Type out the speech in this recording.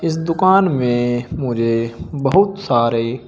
दुकान में मुझे बहुत सारे--